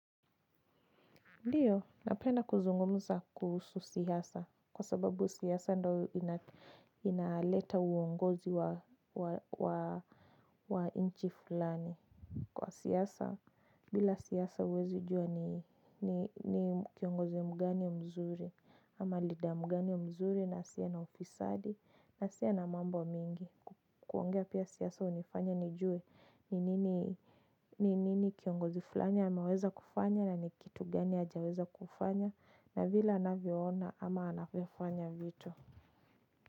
Ndiyo, napenda kuzungumza kuhusu siasa, kwa sababu siasa ndo inaleta uongozi wa nchi fulani. Kwa siasa, bila siasa huwezi jua ni kiongozi mgani mzuri, ama leader mgani ya mzuri asiye na ufisadi, na asiye na mambo mingi. Kuongea pia siasa hunifanya nijue ni nini kiongozi fulani anaweza kufanya na ni kitu gani hajaweza kufanya na vile anavyoona ama anavyofanya vitu.